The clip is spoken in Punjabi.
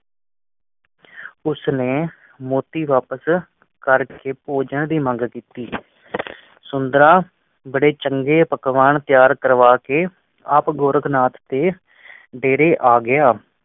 ਉਸ ਨੇ ਮੋਟੀ ਵਾਪਸ ਕਰ ਕੇ ਭੇਜਣ ਦੀ ਮੰਗ ਕੀਤੀ ਬੜੇ ਚੰਗੇ ਪਕਵਾਨ ਤਿਆਰ ਕਰਵਾ ਕੇ ਆਪ ਗੋਰਖ ਨਾਥ ਤੇ